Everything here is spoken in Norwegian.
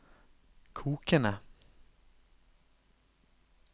kokende